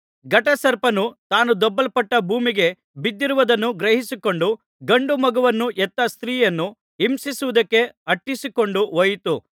ಘಟಸರ್ಪನು ತಾನು ದೊಬ್ಬಲ್ಪಟ್ಟು ಭೂಮಿಗೆ ಬಿದ್ದಿರುವುದನ್ನು ಗ್ರಹಿಸಿಕೊಂಡು ಗಂಡು ಮಗುವನ್ನು ಹೆತ್ತ ಸ್ತ್ರೀಯನ್ನು ಹಿಂಸಿಸುವುದಕ್ಕೆ ಅಟ್ಟಿಸಿಕೊಂಡು ಹೋಯಿತು